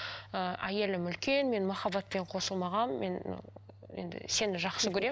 ы әйелім үлкен мен махаббатпен қосылмағанмын мен ыыы енді сені жақсы көремін